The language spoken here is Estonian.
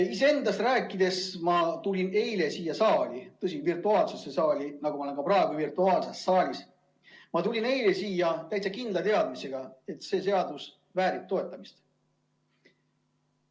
Kui iseendast rääkida, siis ma tulin eile siia saali – tõsi küll, virtuaalsesse saali, kus ma olen ka praegu –, aga ma tulin siia täitsa kindla teadmisega, et see seaduseelnõu väärib toetamist.